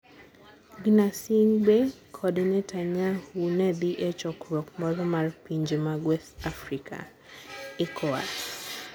Gnassingbe kod Netanyahu ne dhi e chokruok moro mar pinje mag West Africa (Ecowas).